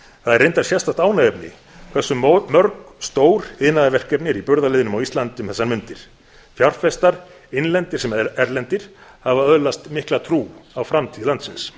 það er reyndar sérstakt ánægjuefni hversu mörg stór iðnaðarverkefni eru í burðarliðnum á íslandi um þessar mundir fjárfestar innlendir sem erlendir hafa öðlast mikla trú á framtíð landsins